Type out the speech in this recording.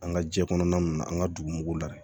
An ka jɛ kɔnɔna ninnu na an ka dugu mugu la dɛ